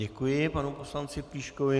Děkuji panu poslanci Plíškovi.